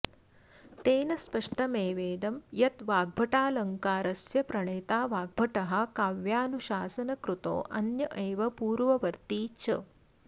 तेन स्पष्टमेवेदं यद् वाग्भटालङ्कारस्य प्रणेता वाग्भटः काव्यानुशासनकृतोऽन्य एव पूर्ववर्ती च